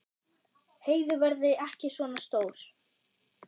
Heiðu verði ekki svona stór.